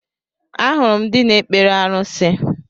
Ahụrụ m ndị na-ekpere arusi